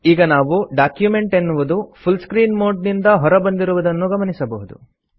ಈಗ ನಾವು ಡಾಕ್ಯುಮೆಂಟ್ ಎನ್ನುವುದು ಫುಲ್ ಸ್ಕ್ರೀನ್ ಮೋಡ್ ನಿಂದ ಹೊರ ಬಂದಿರುವುದನ್ನು ಗಮನಿಸಬಹುದು